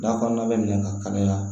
Da kɔnɔna bɛ minɛ ka kalaya